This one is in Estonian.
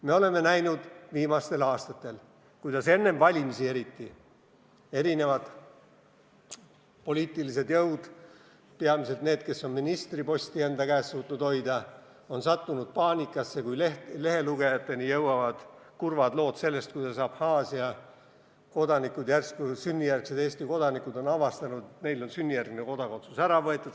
Me oleme viimastel aastatel eriti enne valimisi näinud, kuidas erinevad poliitilised jõud – peamiselt need, kes on ministriposti enda käes suutnud hoida – on sattunud paanikasse, kui lehelugejateni jõuavad kurvad lood sellest, kuidas Abhaasia kodanikud, sünnijärgsed Eesti kodanikud, on järsku avastanud, et neilt on sünnijärgne kodakondsus ära võetud.